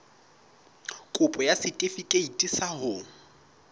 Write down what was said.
kopo ya setefikeiti sa ho